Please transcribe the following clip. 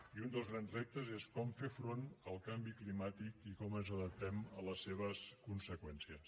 i un dels grans reptes és com fer front al canvi climàtic i com ens adaptem a les seves conseqüències